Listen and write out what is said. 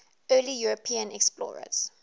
early european explorers